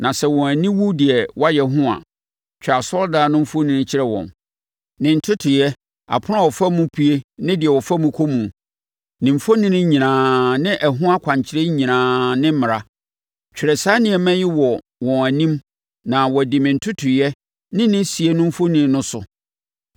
na sɛ wɔn ani wu deɛ wɔayɛ ho a, twa asɔredan no mfoni kyerɛ wɔn; ne ntotoeɛ, apono a wɔfa mu pue ne deɛ wɔfa kɔ mu, ne mfoni nyinaa, ne ɛho akwankyerɛ nyinaa ne mmara. Twerɛ saa nneɛma yi wɔ wɔn anim na wɔadi me ntotoeɛ ne ne sie no mfoni no so.